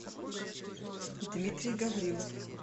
дмитрий гаврилов